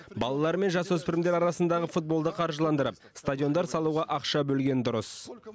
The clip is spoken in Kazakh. балалар мен жасөспірімдер арасындағы футболды қаржыландырып стадиондар салуға ақша бөлген дұрыс